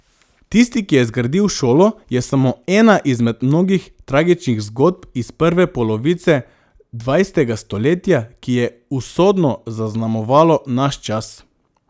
Tisti, ki je zgradil šolo je samo ena izmed mnogih tragičnih zgodb iz prve polovice dvajsetega stoletja, ki je usodno zaznamovalo naš čas.